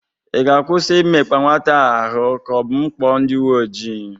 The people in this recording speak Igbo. Ị ga-akwụsị imekpa nwata a ahụ ka ọ bụ m kpọ ndị uwe ojii?